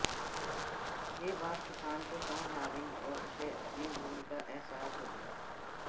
ये बात किसान को समझ आ गई और उसे अपनी भूल का अहसास हो गया